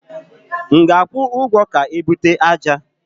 M ga ajwu ụgwọ ka e ute àjà?